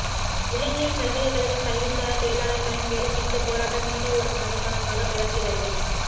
இலங்கையில் பல்கலைக்கழக கல்விசாரா தொழிலாளர்களின் வேலைநிறுத்தப்போராட்டம் நீண்ட ஒரு மாதகாலமாகத் தொடர்கிறது